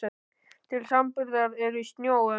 Til samanburðar eru í sjó um